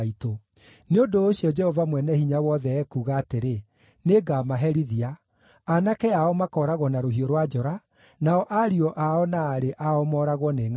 nĩ ũndũ ũcio, Jehova Mwene-Hinya-Wothe ekuuga atĩrĩ: ‘Nĩngamaherithia. Aanake ao makooragwo na rũhiũ rwa njora, nao ariũ ao na aarĩ ao mooragwo nĩ ngʼaragu.